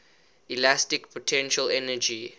elastic potential energy